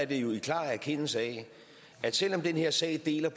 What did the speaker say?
jo i klar erkendelse af at selvom den her sag deler